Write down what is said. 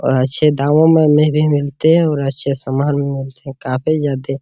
अच्छे दामों में भी मिलते है और अच्छे सामान भी मिलते है काफी जादे --